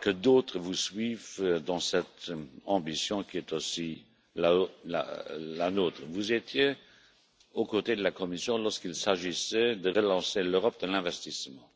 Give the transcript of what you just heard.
Que d'autres vous suivent dans cette ambition, qui est aussi la nôtre Vous étiez aux côtés de la Commission lorsqu'il s'agissait de relancer l'Europe de l'investissement,